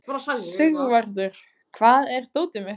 Sigvarður, hvar er dótið mitt?